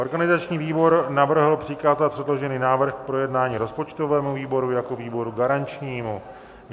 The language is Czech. Organizační výbor navrhl přikázat předložený návrh k projednání rozpočtovému výboru jako výboru garančnímu.